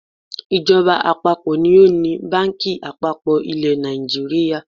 Ìjọba àpapọ̀ ni ó ni báǹkì àpapọ̀ ilẹ̀ Nàìjíríà.